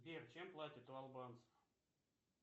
сбер чем платят у албанцев